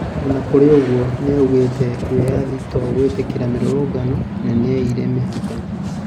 O na kũrĩ ũguo, niaugiite wiyathi to gwitikiria mirurungano na neire mĩhaka.